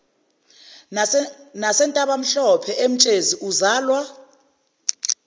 nasentabamhlophe emtshezi uzalwa